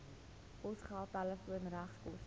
posgeld telefoon regskoste